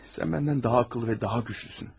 Sən məndən daha ağıllı və daha güclüsən.